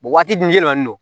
waati dun jɛlen don